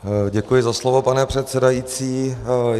Děkuji za slovo, pane předsedající.